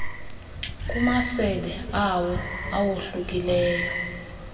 kumasebe awo awohlukileyo